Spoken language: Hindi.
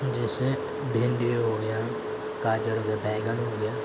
जैसे भिंडी हो गया गाजर हो गया बैगन हो गया ।